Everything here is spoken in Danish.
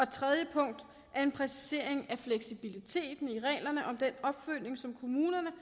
tredje punkt er en præcisering af fleksibiliteten i reglerne om den opfølgning som kommunerne